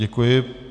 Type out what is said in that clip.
Děkuji.